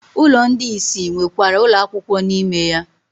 Ụlọ ndị isi nwekwara ụlọ akwụkwọ n'ime ya.